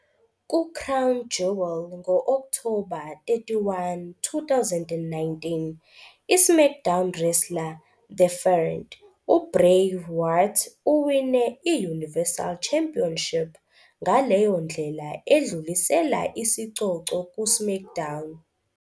Ku- Crown Jewel ngo-Okthoba 31, 2019, i-SmackDown wrestler "The Fiend" uBray Wyatt uwine i-Universal Championship, ngaleyo ndlela edlulisela isicoco ku-SmackDown.